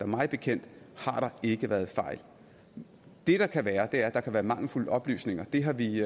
mig bekendt ikke været fejl det der kan være er at der kan være mangelfulde oplysninger det har vi